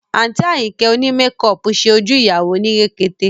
Àǹtí Àyìnkẹ́ òní mekọọ̀pù ṣe ojú ìyàwó ní rekete